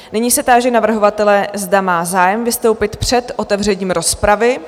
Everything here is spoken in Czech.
Nyní se táži navrhovatele, zda má zájem vystoupit před otevřením rozpravy.